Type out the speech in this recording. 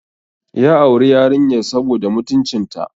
Ya auri yarinyar saboda mutuncinta.